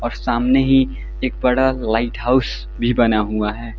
और सामने ही एक बड़ा लाइट हाउस भी बना हुआ है।